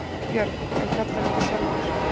Björg: En kallar ekki sjálfur?